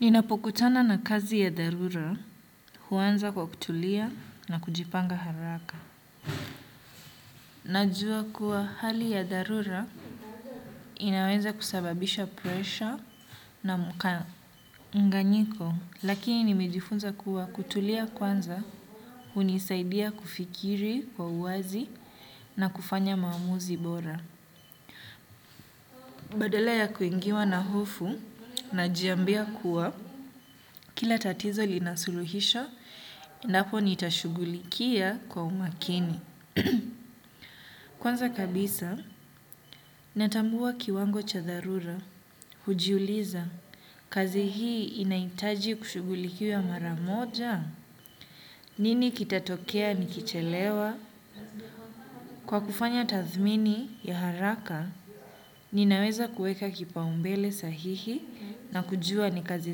Ninapokutana na kazi ya dharura, huanza kwa kutulia na kujipanga haraka. Najua kuwa hali ya dharura inaweza kusababisha pressure na mkanganyiko, lakini nimejifunza kuwa kutulia kwanza, hunisaidia kufikiri kwa uwazi na kufanya maamuzi bora. Badala ya kuingiwa na hofu najiambia kuwa. Kila tatizo lina suluhisho, napo nitashugulikia kwa umakini. Kwanza kabisa, natambua kiwango cha dharura, hujiuliza, kazi hii inahitaji kushugulikiwa mara moja? Nini kitatokea nikichelewa? Kwa kufanya tathmini ya haraka, ninaweza kueka kipaumbele sahihi na kujua ni kazi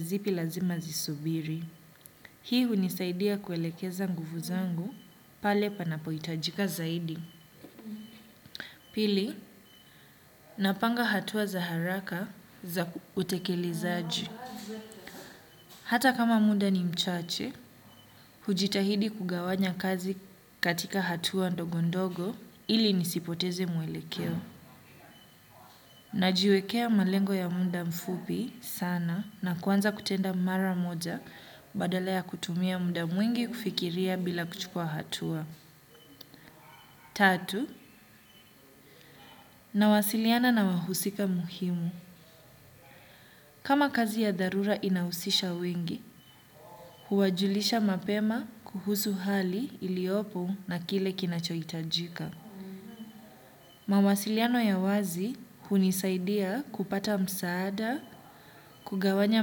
zipi lazima zisubiri. Hii hunisaidia kuelekeza nguvu zangu pale panapohitajika zaidi. Pili, napanga hatua za haraka za utekelezaji. Hata kama muda ni mchache, hujitahidi kugawanya kazi katika hatua ndogondogo ili nisipoteze mwelekeo. Najiwekea malengo ya muda mfupi sana na kuanza kutenda mara moja badala ya kutumia muda mwingi kufikiria bila kuchukua hatua. Tatu, nawasiliana na wahusika muhimu. Kama kazi ya dharura inahusisha wengi, huwajulisha mapema kuhusu hali iliyopo na kile kinachohitajika. Mawasiliano ya wazi hunisaidia kupata msaada, kugawanya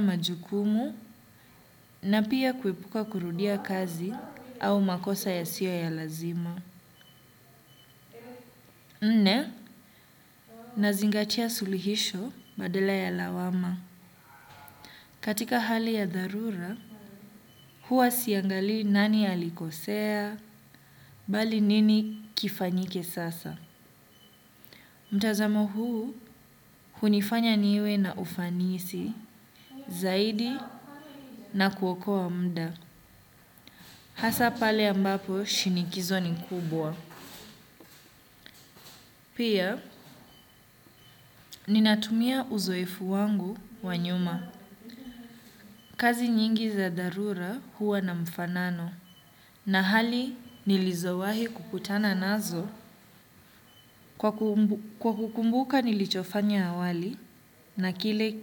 majukumu, na pia kuepuka kurudia kazi au makosa yasiyo ya lazima. Nne, nazingatia sulihisho badala ya lawama. Katika hali ya dharura, huwa siangalii nani ya alikosea, bali nini kifanyike sasa. Mtazamo huu, hunifanya niwe na ufanisi, zaidi na kuokoa mda. Hasa pale ambapo, shinikizo ni kubwa. Pia, ninatumia uzoefu wangu wa nyuma. Kazi nyingi za dharura huwa na mfanano na hali nilizowahi kukutana nazo kwa kukumbuka nilichofanya awali na kile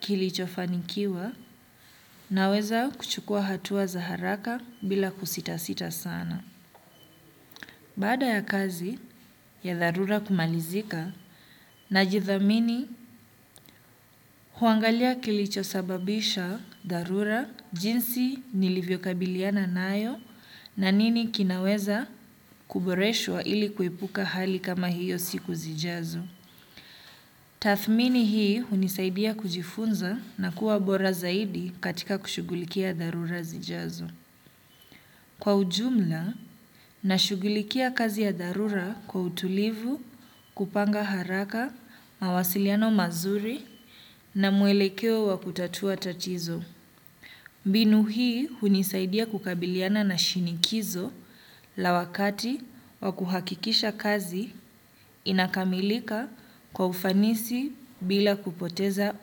kilichofanikiwa naweza kuchukua hatua za haraka bila kusita sita sana. Baada ya kazi ya dharura kumalizika, na jithamini huangalia kilichosababisha dharura jinsi nilivyokabiliana nayo na nini kinaweza kuboreshwa ili kuepuka hali kama hiyo siku zijazo. Tathmini hii hunisaidia kujifunza na kuwa bora zaidi katika kushugulikia dharura zijazo. Kwa ujumla, nashugulikia kazi ya dharura kwa utulivu, kupanga haraka, mawasiliano mazuri na muelekeo wa kutatua tatizo. Mbinu hii hunisaidia kukabiliana na shinikizo la wakati wa kuhakikisha kazi inakamilika kwa ufanisi bila kupoteza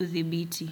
uthibiti.